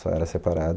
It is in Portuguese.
Só era separado.